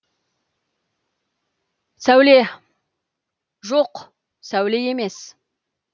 сәуле жоқ сәуле емес